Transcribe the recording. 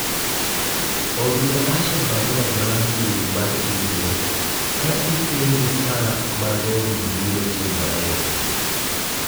orne Asha barua mar mbui mar email ka ipenje saa ma romo biro timore